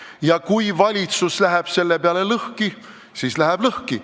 Ja kui valitsus läheb selle peale lõhki, siis läheb lõhki.